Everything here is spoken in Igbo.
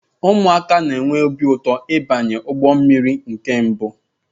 Ụmụaka na-enwe obi ụtọ ịbanye n'ụgbọ mmiri nke mbụ